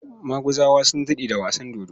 Maguzawa sun daɗe da wasan dodo.